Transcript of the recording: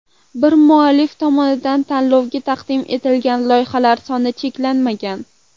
Bir muallif tomonidan tanlovga taqdim etilgan loyihalar soni cheklanmagan.